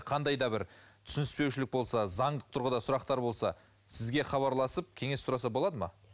қандай да бір түсініспеушілік болса заңдық тұрғыда сұрақтар болса сізге хабарласып кеңес сұраса болады ма